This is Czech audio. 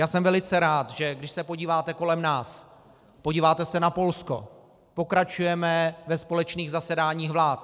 Já jsem velice rád, že když se podíváte kolem nás - podíváte se na Polsko, pokračujeme ve společných zasedáních vlád.